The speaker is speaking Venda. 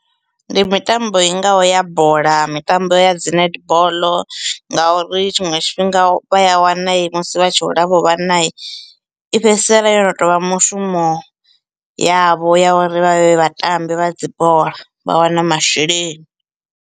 Ndi mitambo i ngaho ya bola, mitambo ya dzi netball ngauri tshiṅwe tshifhinga vha ya wana musi vha tshi hula havho vhana i fhedzisela yo no tou vha mushumo yavho ya uri vha vhe vhatambi vha dzi bola vha wana masheleni.